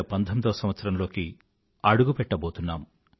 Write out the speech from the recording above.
2019వ సంవత్సరంలోకి అడుగుపెట్టబోతున్నాం